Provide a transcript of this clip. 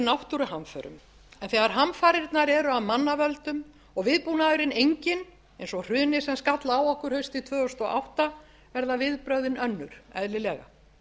náttúruhamförum en þegar hamfarirnar eru af mannavöldum og viðbúnaðurinn enginn eins og hrunið sem skall á okkur haustið tvö þúsund og átta verða viðbrögðin önnur eðlilega